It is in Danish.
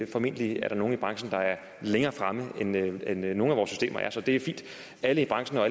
formentlig er der nogle i branchen der er længere fremme end nogle af vores systemer er så det er fint at alle i branchen og